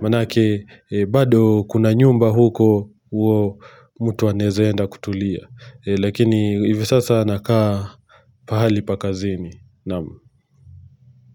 maanake bado kuna nyumba huko huwa mtu anaeza enda kutulia. Lakini hivi sasa nakaa pahali pa kazini. Naam.